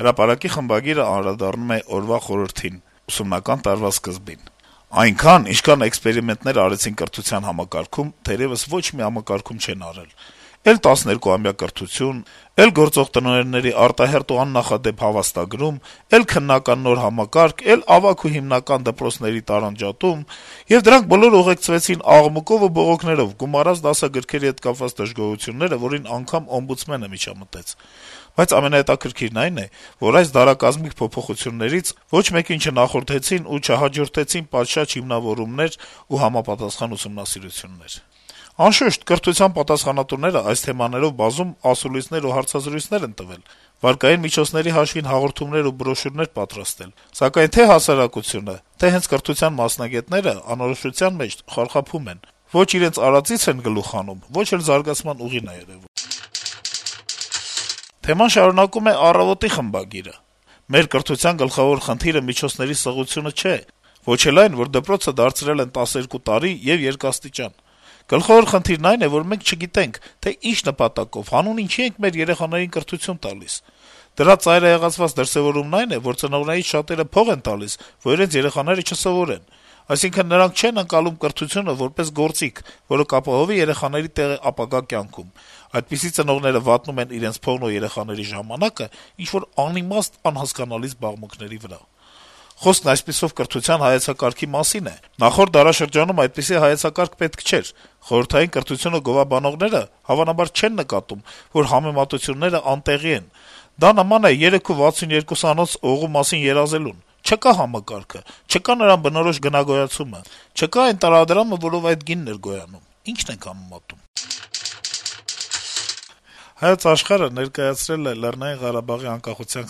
«Հրապարակ»-ի խմբագիրը անդրադառնում է օրվա խորհրդին` ուսումնական տարվա սկզբին. - «Այնքան, ինչքան էքսպերիմենտներ արեցին կրթության համակարգում, թերեւս ոչ մի համակարգում չեն արել: Էլ տասներկուամյա կրթություն, էլ գործող տնօրենների արտահերթ ու աննախադեպ հավաստագրում, էլ քննական նոր համակարգ, էլ ավագ ու հիմնական դպրոցների տարանջատում: Եվ դրանք բոլորն ուղեկցվեցին աղմուկով ու բողոքներով՝ գումարած դասագրքերի հետ կապված դժգոհությունները, որին անգամ օմբուդսմենը միջամտեց: Բայց ամենահետաքրքիրն այն է, որ այս «դարակազմիկ» փոփոխություններից ոչ մեկին չնախորդեցին ու չհաջորդեցին պատշաճ հիմնավորումներ ու համապատասխան ուսումնասիրություններ: Անշուշտ, կրթության պատասխանատուներն այս թեմաներով բազում ասուլիսներ ու հարցազրույցներ են տվել, վարկային միջոցների հաշվին հաղորդումներ ու բրոշյուրներ պատրաստել, սակայն թե’ հասարակությունը, թե’ հենց կրթության մասնագետները անորոշության մեջ խարխափում են: Ոչ իրենց արածից են գլուխ հանում, ոչ էլ զարգացման ուղին է երեւում»: Թեման շարունակում է «Առավոտ»-ի խմբագիրը. - «Մեր կրթության գլխավոր խնդիրը միջոցների սղությունը չէ, ոչ էլ այն, որ դպրոցը դարձրել են 12 տարի եւ երկաստիճան: Գլխավոր խնդիրն այն է, որ մենք չգիտենք, թե ինչ նպատակով, հանուն ինչի ենք մեր երեխաներին կրթություն տալիս: Դրա ծայրահեղացված դրսեւորումն այն է, որ ծնողներից շատերը փող են տալիս, որ իրենց երեխաները չսովորեն: Այսինքն` նրանք չեն ընկալում կրթությունը որպես գործիք, որը կապահովի երեխաների տեղը ապագա կյանքում. այդպիսի ծնողները վատնում են իրենց փողն ու երեխաների ժամանակը ինչ-որ անիմաստ, անհասկանալի զբաղմունքների վրա… Խոսքը, այսպիսով, կրթության հայեցակարգի մասին է… Նախորդ դարաշրջանում այդպիսի հայեցակարգ պետք չէր: Խորհրդային կրթությունը գովաբանողները, հավանաբար, չեն նկատում, որ համեմատությունները անտեղի են: Դա նման է 3.62-անոց օղու մասին երազելուն. չկա համակարգը, չկա նրան բնորոշ գնագոյացումը, չկա այն տարադրամը, որով այդ գինն էր գոյանում` ի՞նչն ենք համեմատում»: «Հայոց Աշխարհ»-ը ներկայացրել է Լեռնային Ղարաբաղի անկախության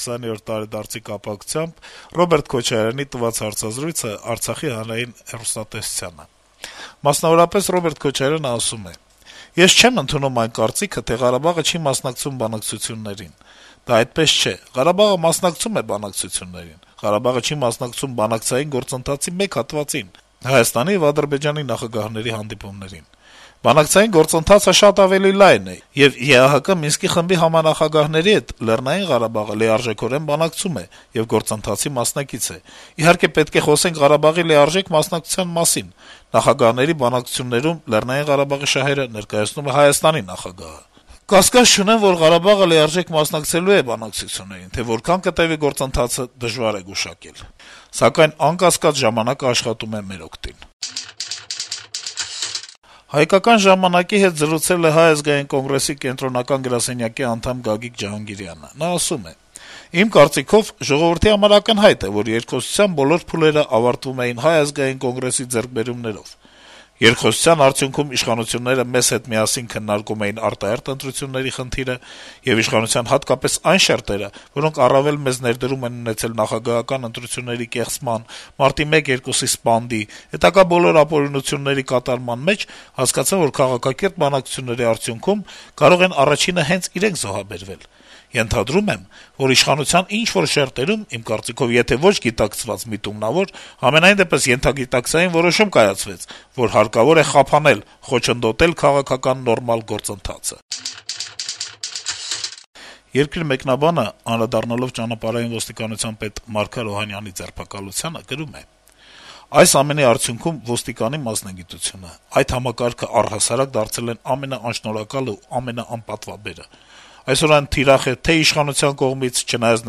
20-րդ տարեդարձի կապակցությամբ Ռոբերտ Քոչարյանի տված հարցազրույցը Արցախի հանրային հեռուստաընկերությանը: Քոչարյանը, մասնավորապես, ասում է. - «Ես չեմ ընդունում այն կարծիքը, թե Ղարաբաղը չի մասնակցում բանակցություններին: Դա այդպես չէ: Ղարաբաղը մասնակցում է բանակցություններին: Ղարաբաղը չի մասնակցում բանակցային գործընթացի մեկ հատվածին` Հայաստանի եւ Ադրբեջանի նախագահների հանդիպումներին: Բանակցային գործընթացը շատ ավելի լայն է, եւ ԵԱՀԿ Մինսկի խմբի համանախագահների հետ Լեռնային Ղարաբաղը լիարժեքորեն բանակցում է եւ գործընթացի մասնակից է: Իհարկե, պետք է խոսենք Ղարաբաղի լիարժեք մասնակցության մասին: Նախագահների բանակցություններում ԼՂ շահերը ներկայացնում է Հայաստանի նախագահը: Կասկած չունեմ, որ Ղարաբաղը լիարժեք մասնակցելու է բանակցություններին: Թե որքան կտեւի գործընթացը, դժվար է գուշակել: Սակայն, անկասկած, ժամանակը աշխատում է մեր օգտին»: «Հայկական ժամանակ»-ի հետ զրուցել է Հայ ազգային կոնգրեսի կենտրոնական գրասենյակի անդամ Գագիկ Ջհանգիրյանը: Նա ասում է. - «Իմ կարծիքով, ժողովրդի համար ակնհայտ է, որ երկխոսության բոլոր փուլերը ավարտվում էին Հայ ազգային կոնգրեսի ձեռքբերումներով: Երկխոսության արդյունքում իշխանությունները մեզ հետ միասին քննարկում էին արտահերթ ընտրությունների խնդիրը, եւ իշխանության հատկապես այն շերտերը, որոնք առավել մեծ «ներդրում» են ունեցել նախագահական ընտրությունների կեղծման, մարտի 1-2-ի սպանդի, հետագա բոլոր ապօրինությունների կատարման մեջ, հասկացան, որ քաղաքակիրթ բանակցությունների արդյունքում կարող են առաջինը հենց իրենք զոհաբերվել: Ենթադրում եմ, որ իշխանության ինչ-որ շերտերում, իմ կարծիքով, եթե ոչ գիտակցված, միտումնավոր, համենայնդեպս ենթագիտակցային որոշում կայացվեց, որ հարկավոր է խափանել, խոչընդոտել քաղաքական նորմալ գործընթացը»: «Երկիր» թերթի մեկնաբանը, անդրադառնալով Ճանապարհային ոստիկանության պետ Մարգար Օհանյանի ձերբակալությանը, գրում է. - «Այս ամենի արդյունքում ոստիկանի մասնագիտությունը, այդ համակարգն առհասարակ դարձել են ամենաանշնորհակալը եւ ամենաանպատվաբերը: Այսօր այն թիրախ է թե' իշխանության կողմից` չնայած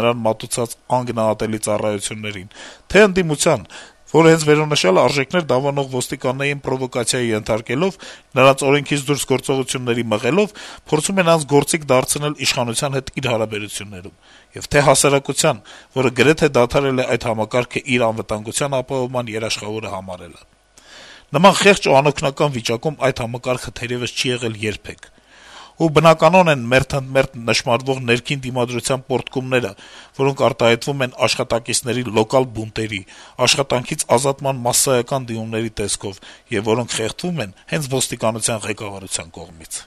նրան մատուցած անգնահատելի ծառայություններին, թե' ընդդիմության, որը, հենց վերոնշյալ արժեքներ դավանող ոստիկաններին պրովոկացիայի ենթարկելով, նրանց օրենքից դուրս գործողությունների մղելով` փորձում է նրանց գործիք դարձնել իշխանության հետ իր հարաբերություններում, թե' հասարակության, որը գրեթե դադարել է այդ համակարգն իր անվտանգության ապահովման երաշխավորը համարել: Նման խեղճ ու անօգնական վիճակում այս համակարգը թերեւս չի եղել երբեք: Ու բնականոն են մերթընդմերթ նշմարվող ներքին դիմադրության պոռթկումները, որոնք արտահայտվում են աշխատակիցների լոկալ բունտերի, աշխատանքից ազատման մասսայական դիմումների տեսքով, եւ որոնք խեղդվում են հենց ոստիկանության ղեկավարության կողմից»: